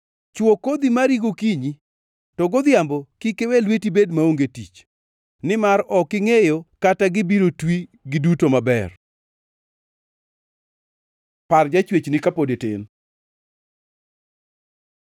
Chwo kodhi mari gokinyi, to godhiambo kik iwe lweti bed maonge tich, nimar ok ingʼeyo kata gibiro twi, giduto maber. Par Jachwechni kapod itin